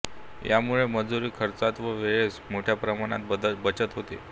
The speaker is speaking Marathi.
यामुळे मजूरी खर्चात व वेळेत मोठया प्रमाणात बचत होते